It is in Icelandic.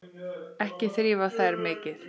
Ekki þrífa þær mikið.